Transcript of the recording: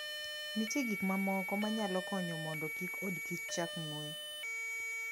Nitie gik mamoko ma nyalo konyo mondo kik odkich chak ng'we.